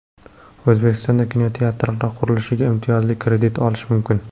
O‘zbekistonda kinoteatrlar qurilishiga imtiyozli kredit olish mumkin.